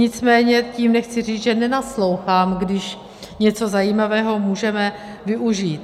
Nicméně tím nechci říct, že nenaslouchám, když něco zajímavého můžeme využít.